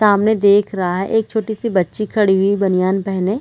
सामने देख रहा है एक छोटी सी बच्ची खड़ी हुई बनियान पहने।